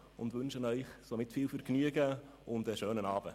Wir wünschen Ihnen viel Vergnügen und einen schönen Abend.